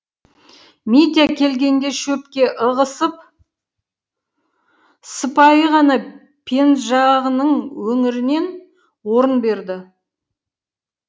митя келгенде шөпке ығысып сыпайы ғана пенжағының өңірінен орын берді